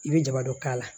I bɛ jaba dɔ k'a la